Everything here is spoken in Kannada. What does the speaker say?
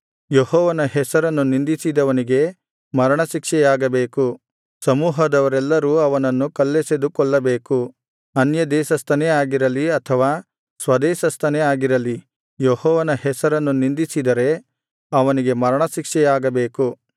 ಯೆಹೋವನ ಹೆಸರನ್ನು ನಿಂದಿಸಿದವನಿಗೆ ಮರಣ ಶಿಕ್ಷೆಯಾಗಬೇಕು ಸಮೂಹದವರೆಲ್ಲರೂ ಅವನನ್ನು ಕಲ್ಲೆಸೆದು ಕೊಲ್ಲಬೇಕು ಅನ್ಯದೇಶಸ್ಥನೇ ಆಗಿರಲಿ ಅಥವಾ ಸ್ವದೇಶಸ್ಥನೇ ಆಗಿರಲಿ ಯೆಹೋವನ ಹೆಸರನ್ನು ನಿಂದಿಸಿದರೆ ಅವನಿಗೆ ಮರಣಶಿಕ್ಷೆಯಾಗಬೇಕು